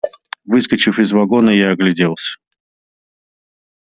выскочив из вагона я огляделся